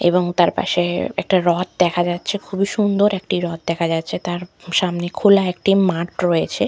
এবং তারপাশে একটা রথ দেখা যাচ্ছে খুবই সুন্দর একটি রথ দেখা যাচ্ছে তার প সামনে খোলা একটি মাঠ রয়েছে।